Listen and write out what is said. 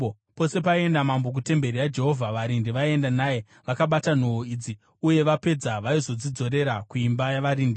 Pose paienda mambo kutemberi yaJehovha, varindi vaienda naye, vakabata nhoo idzi uye vapedza vaizodzidzorera kuimba yavarindi.